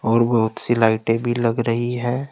और बहुत सी लाइटें भी लग रही है।